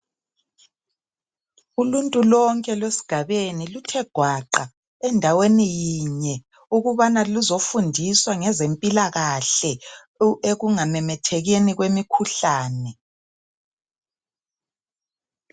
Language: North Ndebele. uluntu lonke lwesigabeni luthe gwaqa endaweni yinye ukubana luzofundiswa ngezempilakahle ekungamemethekeni kwemikhuhlane